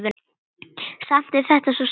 Samt er þetta svo sárt.